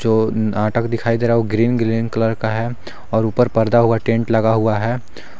जो नाटक दिखाई दे रहा है ग्रीन ग्रीन कलर का है और ऊपर पर्दा हुआ टेंट लगा हुआ है।